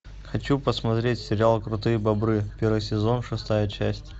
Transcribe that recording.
хочу посмотреть сериал крутые бобры первый сезон шестая часть